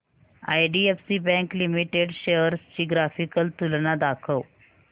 IDFC bank limited shares ची graphical तुलना दाखव